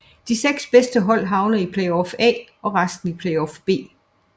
De 6 bedste hold havner i Playoff A og resten i Playoff B